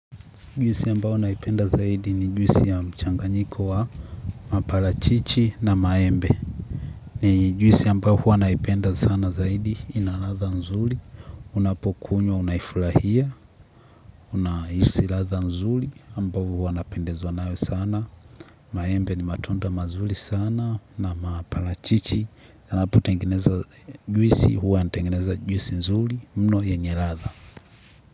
Juisi ambao naipenda zaidi ni juisi ya mchanganyiko wa mapalachichi na maembe. Ni juisi ambao huwa naipenda sana zaidi ina ladha nzuli. Unapokunywa unaifulahia, unaisi ladha nzuli ambao huwa napendezwa nayo sana. Maembe ni matunda mazuli sana na mapalachichi. Yanapo tengeneza juisi huwa yanatengeneza juisi nzuli mno yenye ladha.